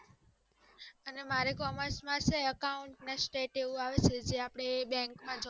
અને મારે accounts, state આવે છે જે આપડે બેંકમાં